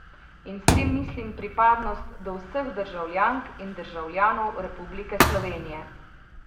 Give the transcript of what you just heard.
In s tem mislim pripadnost do vseh državljank in državljanov Republike Slovenije.